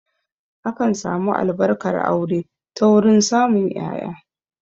Akan samu Albarkar aure ta wurin samun ƴaƴa